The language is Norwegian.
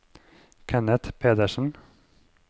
Kenneth Pedersen